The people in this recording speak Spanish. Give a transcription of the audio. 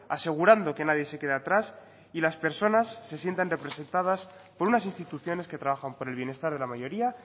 asegurando que nadie se quede atrás y las personas se sientan representadas por unas instituciones que trabajan por el bienestar de la mayoría